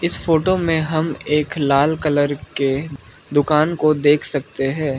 इस फोटो में हम एक लाल कलर के दुकान को देख सकते है।